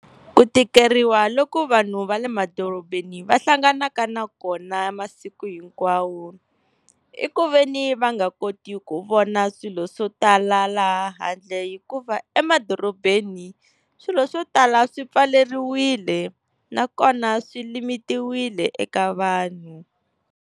Ku tikeriwa loko vanhu va le madorobeni va hlanganaka na kona masiku hinkwawo, i ku veni va nga koti ku vona swilo swo tala laha handle, hikuva emadorobeni swilo swo tala swi pfaleriwile nakona swi limitiwile eka vanhu.